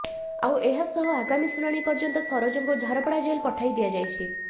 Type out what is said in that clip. ଆଉ ଏହାସହ ଆଗାମୀ ଶୁଣାଣି ପର୍ଯ୍ୟନ୍ତ ସରୋଜଙ୍କୁ ଝାରପଡା ଜେଲ ପଠାଇ ଦିଆଯାଇଛି